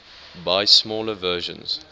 buy smaller versions